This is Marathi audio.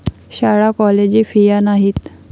शाळा कॉलेजे फिया नाहीत.